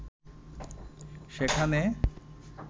সেখানে